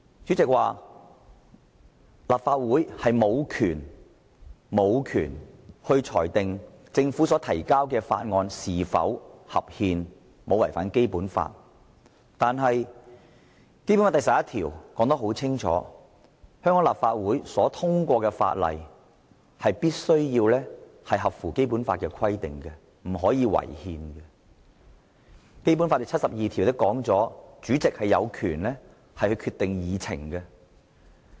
主席說立法會無權裁定政府提交的法案是否合憲和是否違反《基本法》，但《基本法》第十一條已清楚訂明，香港立法會制定的法例必須符合《基本法》的規定，不可以違憲，而《基本法》第七十二條亦規定主席有權決定議程。